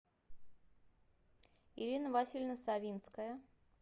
ирина васильевна савинская